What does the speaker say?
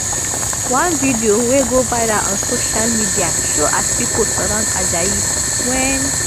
one video wey go viral on social media show as pipo surround ajayi wen